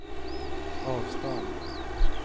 avstånd